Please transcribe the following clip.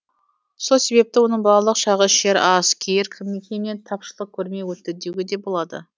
сол себепті оның балалық шағы ішер ас киер киімнен тапшылық көрмей өтті деуге де болады